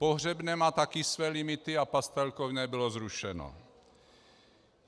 Pohřebné má také své limity a pastelkovné bylo zrušeno.